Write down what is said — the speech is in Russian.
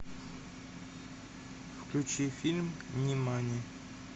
включи фильм нимани